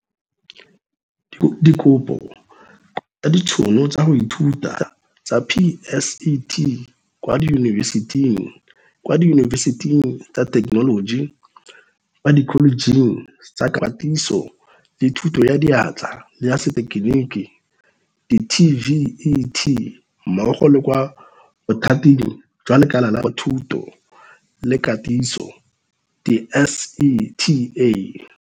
Dikopo tsa ditšhono tsa go ithuta tsa PSET, kwa diyunibesiting, kwa diyunibesiting tsa thekenoloji, kwa dikholejeng tsa Katiso le Thuto ya Diatla le ya setegeniki di-TVET mmogo le kwa Bothating jwa Lekala la Thuto le Katiso di-SETA.